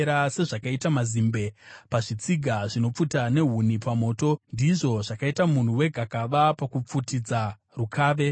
Sezvakaita mazimbe pazvitsiga zvinopfuta nehuni pamoto, ndizvo zvakaita munhu wegakava pakupfutidza rukave.